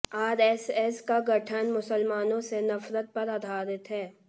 RSS का गठन मुसलमानों से नफरत पर आधारित है